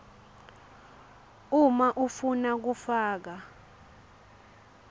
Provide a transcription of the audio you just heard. uma ufuna kufaka